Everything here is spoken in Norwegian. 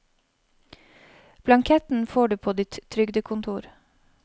Blanketten får du på ditt trygdekontor.